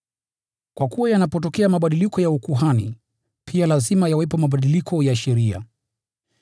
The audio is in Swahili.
Kwa kuwa yanapotokea mabadiliko ya ukuhani, pia lazima yawepo mabadiliko ya sheria.